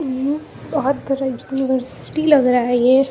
बहोत बड़ा यूनिवर्सिटी लग रहा है ये।